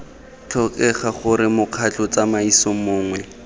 tlhokega gore mokgatlho tsamaiso mongwe